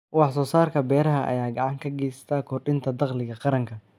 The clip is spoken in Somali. Wax soo saarka beeraha ayaa gacan ka geysta kordhinta dakhliga qaranka.